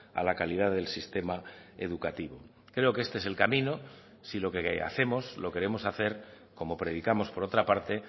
a la calidad del sistema educativo creo que este es el camino si lo que hacemos lo queremos hacer como predicamos por otra parte